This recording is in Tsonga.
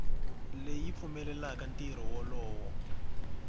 leyi yi pfumelelaka ntirho wolowo